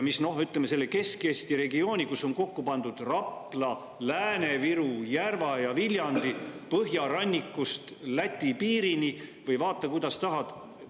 Kesk-Eesti regiooni on kokku pandud Rapla, Lääne-Viru, Järva ja Viljandi, põhjarannikust Läti piirini, vaata, kuidas tahad.